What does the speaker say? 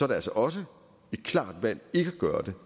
det altså også et klart valg ikke at gøre det